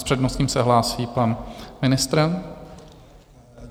S přednostním se hlásí pan ministr.